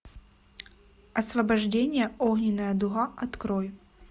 освобождение огненная дуга открой